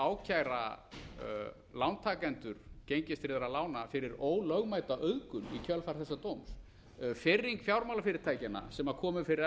ákæra lántakendur gengistryggðra lána fyrir ólögmæta auðgun í kjölfar þessa dóms firring fjármálafyrirtækjanna sem komu fyrir